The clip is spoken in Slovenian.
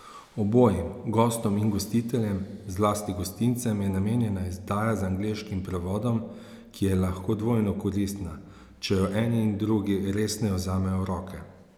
Obojim, gostom in gostiteljem, zlasti gostincem, je namenjena izdaja z angleškim prevodom, ki je lahko dvojno koristna, če jo eni in drugi resneje vzamejo v roke.